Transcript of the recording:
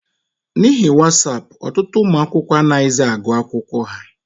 N'ihi wasapụ, ọtụtụ ụmụ akwụkwọ anaghịzị agụ akwụkwọ ha.